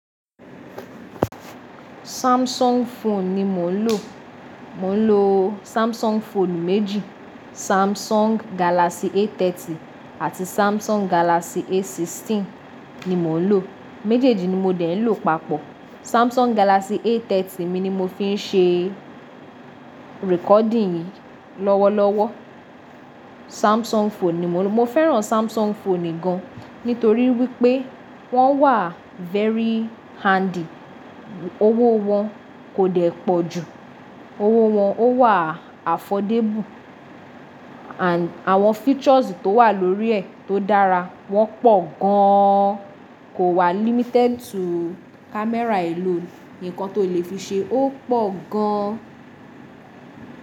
Samsung phone ni mo ń lò. Mo ń lo Samsung phone méjì, Samsung Galaxy A30 àti Samsung Galaxy A16 ni mò ń lò. Méjèèjì ni mo dẹ̀ ń lò papọ̀. Samsung Galaxy A30 mi ni mo fi ṣe recording yìí lọ́wọ́lọ́wọ́. Samsung phone ni mò ń lò. Mo fẹ́ran Samsung phone gan-an nítorí wípé wọ́n wà very handy, owó wọn kò dẹ́ pọ̀ jù, owó wọn ó wà àfọ̀débù, ànd àwọn features tó wà lórí ẹ̀ tó dára wọ́n pọ̀ gan-an. Kò wà limited to camera alone. Ǹkan tó le fi ṣe ó pọ̀ gan-an.